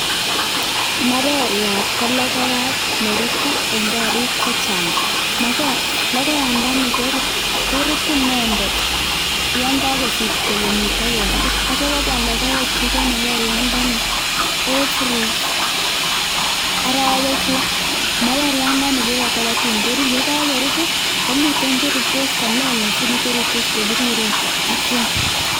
Maberiat ko lokoyat nerutu en korik chechang, lokoyandani ko rutu inendet yon kokosirto kenyit akeng'e akityo kobwa lokoekyik en maberiandani every orowek loo, maberiandani koboto totun korut, yetun kokorur komiten cherurtos kolelach sikomi cherurtos ko biriren ak kiam.